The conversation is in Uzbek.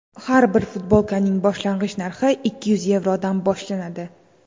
Har bir futbolkaning boshlang‘ich narxi ikki yuz yevrodan boshlanadi.